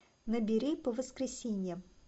набери по воскресеньям